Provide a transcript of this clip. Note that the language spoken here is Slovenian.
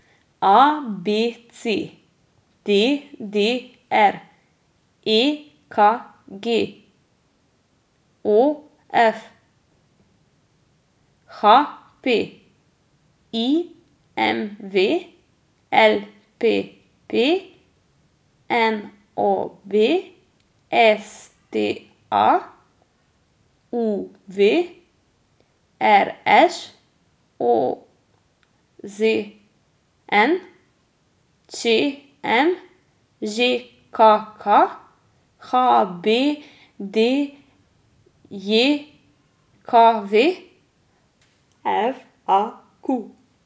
A B C; D D R; E K G; O F; H P; I M V; L P P; N O B; S T A; U V; R Š; O Z N; Č M; Ž K K; H B D J K V; F A Q.